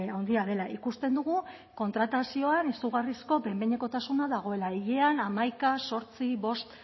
handia dela ikusten dugu kontratazioan izugarrizko behin behinekotasuna dagoela hilean hamaika zortzi bost